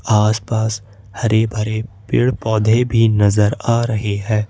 आसपास हरे भरे पेड़ पौधे भी नजर आ रहे हैं।